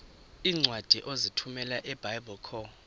iincwadi ozithumela ebiblecor